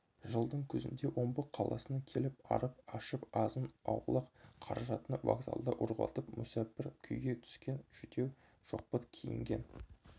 жылдың күзінде омбы қаласына келіп арып-ашып азын-аулақ қаражатын вокзалда ұрлатып мүсәпір күйге түскен жүдеу шоқпыт киінген